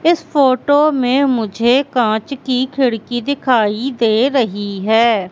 इस फोटो में मुझे कांच की खिड़की दिखाई दे रही हैं।